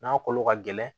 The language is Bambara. N'a kolo ka gɛlɛn